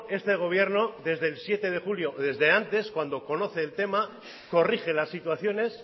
este gobierno desde el siete de julio desde antes cuando conoce el tema corrige las situaciones